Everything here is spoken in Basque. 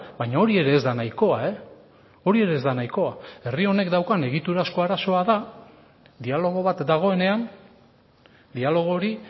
baina hori ere ez da nahikoa hori ere ez da nahikoa herri honek daukan egiturazko arazoa da dialogo bat dagoenean dialogo hori